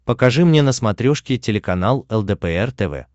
покажи мне на смотрешке телеканал лдпр тв